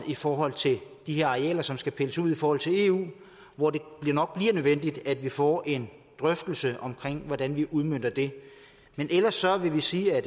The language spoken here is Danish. i forhold til de her arealer som skal pilles ud i forhold til eu hvor det nok bliver nødvendigt at vi får en drøftelse af hvordan vi udmønter det men ellers vil vi sige at